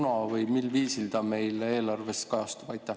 Või kuna või mil viisil ta meil eelarves kajastub?